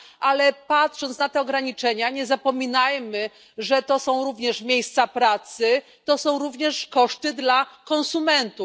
ale patrząc na te ograniczenia, nie zapominajmy, że to są również miejsca pracy, to są również koszty dla konsumentów.